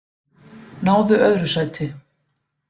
Náðu öðru sæti